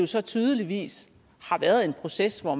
så tydeligvis har været en proces hvor